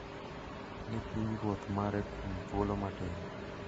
ni pinyruoth mare kuom thuolo matin,